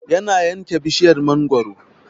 Yana yanke bishiryar mangaro